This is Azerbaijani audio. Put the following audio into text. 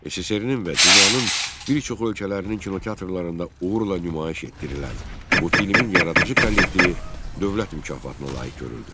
SSRİ-nin və dünyanın bir çox ölkələrinin kinoteatrlarında uğurla nümayiş etdirilən bu filmin yaradıcı kollektivi Dövlət mükafatına layiq görüldü.